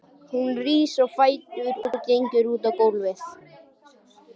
Hún rís á fætur og gengur út á gólfið.